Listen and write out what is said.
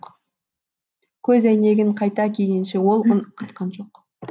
көз әйнегін қайта кигенше ол үн қатқан жоқ